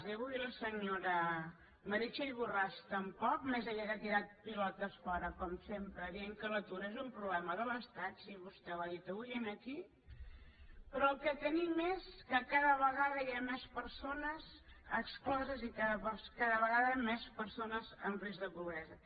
i avui la senyora meritxell borràs tampoc més aviat ha tirat pilotes fora com sempre dient que l’atur és un problema de l’estat sí vostè ho ha dit avui aquí però el que tenim és que cada vegada hi ha més persones excloses i cada vegada més persones amb risc de pobresa